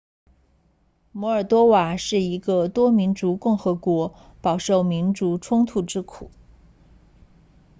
摩尔多瓦是一个多民族共和国饱受民族冲突之苦